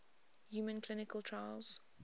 human clinical trials